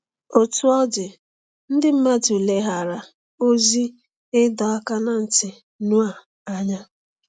Otú ọ dị, ndị mmadụ leghaara ozi ịdọ aka ná ntị Noa anya.